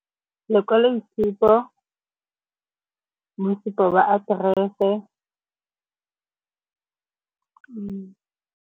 Lekwaloitshupo, mosupo wa aterese .